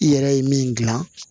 I yɛrɛ ye min gilan